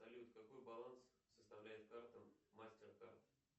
салют какой баланс составляет карта мастеркард